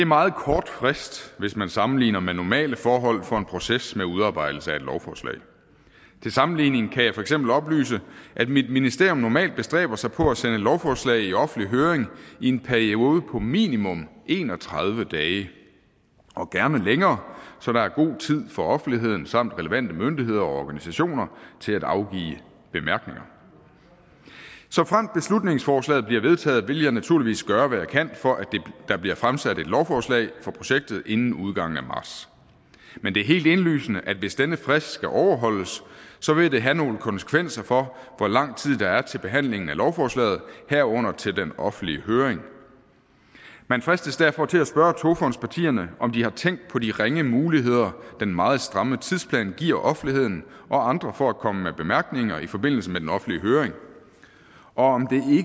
meget kort frist hvis man sammenligner med normale forhold for en proces med udarbejdelse af et lovforslag til sammenligning kan jeg for eksempel oplyse at mit ministerium normalt bestræber sig på at sende lovforslag i offentlig høring i en periode på minimum en og tredive dage og gerne længere så der er god tid for offentligheden samt relevante myndigheder og organisationer til at afgive bemærkninger såfremt beslutningsforslaget bliver vedtaget vil jeg naturligvis gøre hvad jeg kan for at der bliver fremsat et lovforslag for projektet inden udgangen af marts men det er helt indlysende at det hvis denne frist skal overholdes vil have nogle konsekvenser for hvor lang tid der er til behandlingen af lovforslaget herunder til den offentlige høring man fristes derfor til at spørge togfondspartierne om de har tænkt på de ringe muligheder den meget stramme tidsplan giver offentligheden og andre for at komme med bemærkninger i forbindelse med den offentlige høring og om